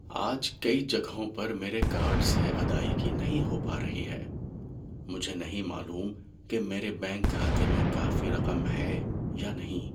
آج کئی جگہوں پر میرے کارڈ سے ادائیگی نہیں ہو پا رہی ہے۔ مجھے نہیں معلوم کہ میرے بینک کھاتے میں کافی رقم ہے یا نہیں۔